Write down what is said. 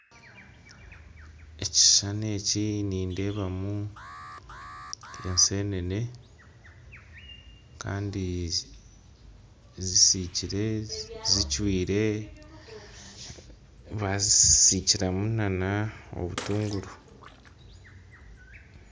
Ekishushani eki nindeebamu ensenene kandi zicwire zisikire, bazisikiramu obutunguru.